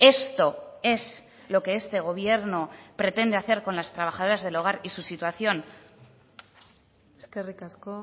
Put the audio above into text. esto es lo que este gobierno pretende hacer con las trabajadoras del hogar y su situación eskerrik asko